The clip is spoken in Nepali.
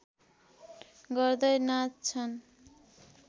गर्दै नाच्छन्